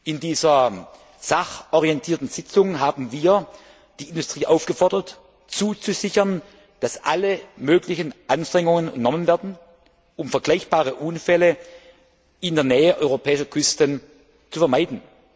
In dieser sachorientierten Sitzung haben wir die Industrie aufgefordert, zuzusichern, dass alle möglichen Anstrengungen unternommen werden, um vergleichbare Unfälle in der Nähe europäischer Küsten zu vermeiden.